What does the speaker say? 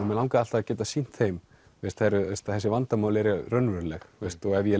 mig langaði alltaf að geta sýnt þeim að þessi vandamál eru raunveruleg ef ég